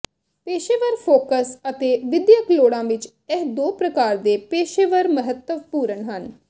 ਪੇਸ਼ੇਵਰ ਫੋਕਸ ਅਤੇ ਵਿਦਿਅਕ ਲੋੜਾਂ ਵਿੱਚ ਇਹ ਦੋ ਪ੍ਰਕਾਰ ਦੇ ਪੇਸ਼ੇਵਰ ਮਹੱਤਵਪੂਰਣ ਹਨ